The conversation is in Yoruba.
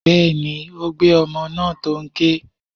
Bẹ́ẹ̀ni, ó gbé ọmọ náà tó n ké.